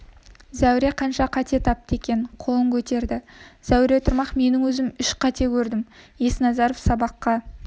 зәуре қанша қате тапты екен қолын көтерді зәуре тұрмақ менің өзім үш қате көрдім есназаров сабаққа